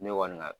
Ne kɔni ka